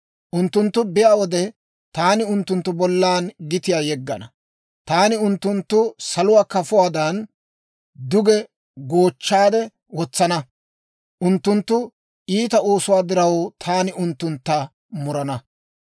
Unttunttu biyaa wode, taani unttunttu bollan gitiyaa yeggana; taani unttunttu saluwaa kafotuwaadan, duge goochchaade wotsana. Unttunttu iita oosuwaa diraw, taani unttuntta murana.